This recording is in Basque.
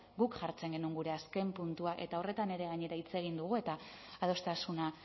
guk jartzen genuen gure azken puntua eta horretan ere gainera hitz egin dugu eta adostasuna